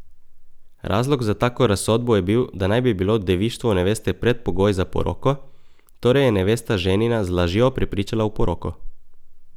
Razlog za tako razsodbo je bil, da naj bi bilo devištvo neveste predpogoj za poroko, torej je nevesta ženina z lažjo prepričala v poroko.